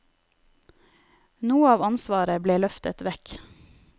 Noe av ansvaret ble løftet vekk.